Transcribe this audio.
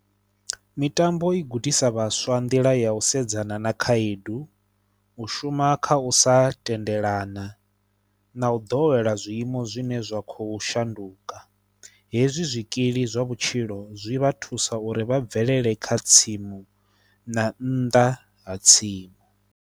Mitambo i gudisa vhaswa nḓila ya u sedzana na khaedu, u shuma kha u sa tendelana na u ḓowela zwiimo zwine zwa khou shanduka. Hezwi zwikili zwa vhutshilo zwi vha thusa uri vha bvelele kha tsimu na nnḓa ha tsimu.